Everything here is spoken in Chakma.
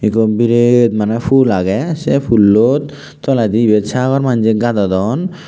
ekko biret mane pul age se pullot toledi ibet sagor manje gadodon.